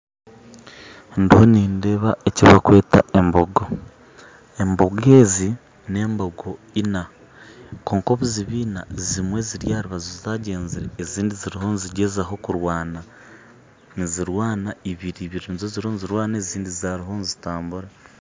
Ndiho nindeeba eki bakweta embogo, embogo ezi n'embogo ina kwonka obuziba ina ezimwe ziri aharubaju zagyenzire ezindi ziriho nizigyezaho kurwana ibiri nizo ziriyo nizirwana ezindi ziriyo nizitambura